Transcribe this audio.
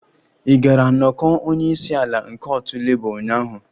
Ị gara nnọkọ onye isi ala nke otu Labour ụnyaahụ?